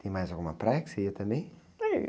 Tem mais alguma praia que você ia também?